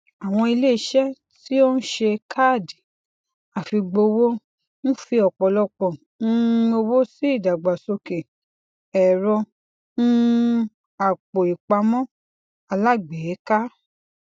àwọn iléiṣẹ tí ó ń ṣe káàdì àfigbowò ń fi ọpọlọpọ um owó sí ìdàgbàsókè ẹrọ um àpòìpamọ alágbèéká